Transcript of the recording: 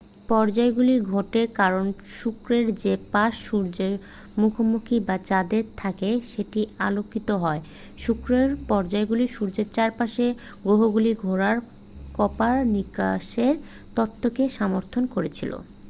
পর্যায়গুলি ঘটে কারণ শুক্রের যে পাশ সূর্যের মুখোমুখি বা চাঁদের থাকে সেটিই আলোকিত হয়। শুক্রের পর্যায়গুলি সূর্যের চারপাশে গ্রহগুলি ঘোরার কোপারনিকাসের তত্ত্বকে সমর্থন করেছিলো।